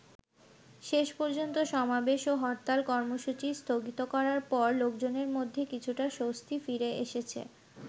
শেষ পর্যন্ত সমাবেশ ও হরতাল কর্মসূচি স্থগিত করার পর লোকজনের মধ্যে কিছুটা স্বস্তি ফিরে এসেছে।